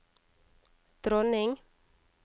dronning